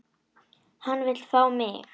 Hann vill fá mig.